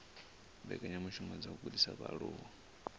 mbekanyamishumo dza u gudisa vhaaluwa